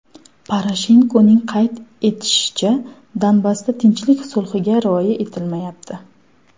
Poroshenkoning qayd etishicha, Donbassda tinchlik sulhiga rioya etilmayapti.